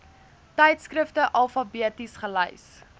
tydskrifte alfabeties gelys